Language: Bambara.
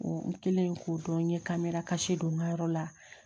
n kɛlen k'o dɔn n ye kamerakasi don n ka yɔrɔ la